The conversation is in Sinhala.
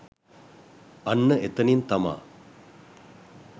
අන්න එතනින් තමා